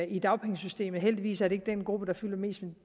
i dagpengesystemet heldigvis er det ikke den gruppe der fylder mest